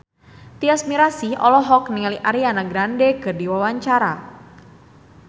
Tyas Mirasih olohok ningali Ariana Grande keur diwawancara